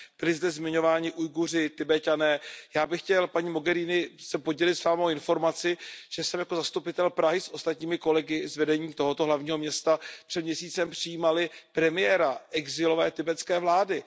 Byli zde zmiňováni Ujguři, Tibeťané. Já bych chtěl, paní Mogheriniová, se s vámi podělit o informaci, že jsem jako zastupitel Prahy s ostatními kolegy z vedení tohoto hlavního města před měsícem přijímal premiéra exilové tibetské vlády.